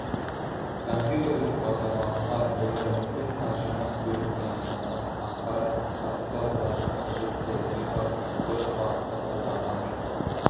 компьютерлік бағдарламалар өміріміздің ажырамас бөлігіне айналған ақпараттық ғасырда оларды қажетті ең бастысы дұрыс бағытта қолданған жөн